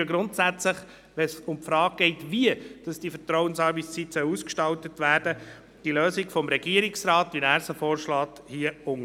Wenn es um die Frage geht, wie die Vertrauensarbeitszeit ausgestaltet werden soll, unterstützen wir grundsätzlich die vom Regierungsrat vorgeschlagene Lösung.